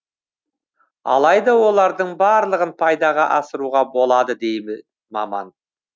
алайда олардың барлығын пайдаға асыруға болады дейді маман